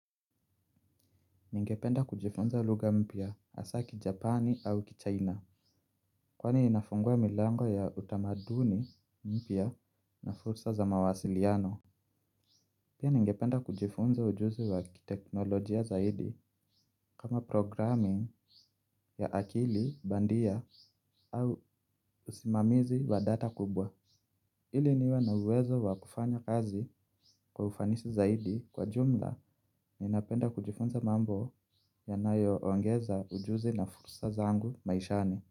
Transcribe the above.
Ningependa kujifunza lugha mpya hasaa Kijapani au Kichina. Kwani inafungua milango ya utamaduni mpya na fursa za mawasiliano. Pia ningependa kujifunza ujuzi wa kiteknolojia zaidi kama programming ya akili bandia au usimamizi wa data kubwa ili niwa na uwezo wa kufanya kazi kwa ufanisi zaidi kwa jumla ninapenda kujifunza mambo yanayo ongeza ujuzi na fursa zangu maishani.